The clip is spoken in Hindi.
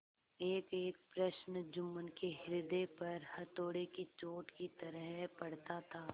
एकएक प्रश्न जुम्मन के हृदय पर हथौड़े की चोट की तरह पड़ता था